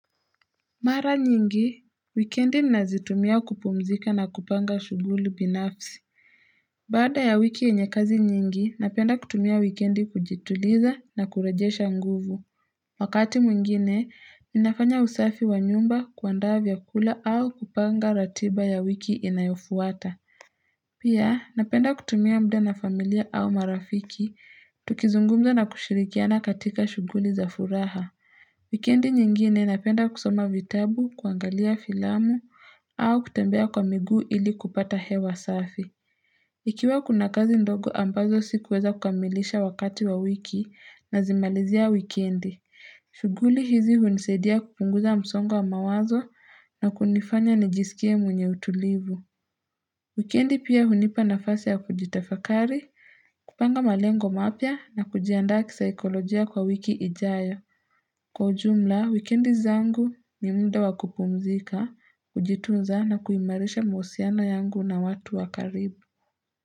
Mara nyingi, wikendi nazitumia kupumzika na kupanga shughuli binafsi. Baada ya wiki yenye kazi nyingi, napenda kutumia wikendi kujituliza na kurejesha nguvu. Wakati mwingine, ninafanya usafi wa nyumba kuandaa vyakula au kupanga ratiba ya wiki inayofuata. Pia, napenda kutumia mda na familia au marafiki, tukizungumza na kushirikiana katika shughuli za furaha. Wikendi nyingine napenda kusoma vitabu, kuangalia filamu, au kutembea kwa miguu ili kupata hewa safi. Ikiwa kuna kazi ndogo ambazo sikuweza kukamilisha wakati wa wiki nazimalizia wikendi. Shughuli hizi hunisaidia kupunguza msongo wa mawazo na kunifanya nijisikie mwenye utulivu. Wikendi pia hunipa nafasi ya kujitafakari, kupanga malengo mapya na kujiandaa kisaikolojia kwa wiki ijayo. Kwa ujumla, wikendi zangu ni muda wa kupumzika, kujitunza na kuimarisha mahusiano yangu na watu wa karibu.